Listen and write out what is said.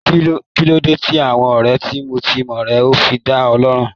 Kí ló dé tí àwọn ọ̀rẹ́ tímọ́tímọ́ rẹ̀ ò fi da lóhùn.